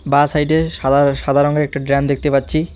বাঁ সাইডে সাদা সাদা রঙ্গের একটা ড্রাম দেখতে পাচ্ছি।